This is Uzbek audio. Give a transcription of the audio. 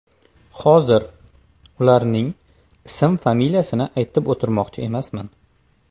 Hozir ularning ism-familiyasini aytib o‘tirmoqchi emasman.